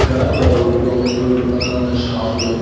ఇక్కడ ఒక road road పక్కన ఉన్న షాపులు --